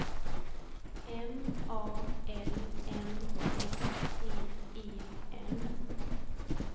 M A L M S T E N